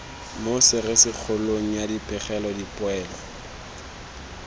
mo serisikgolong ya dipegelo dipoelo